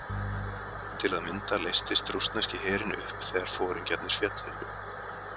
Til að mynda leystist rússneski herinn upp þegar foringjarnir féllu.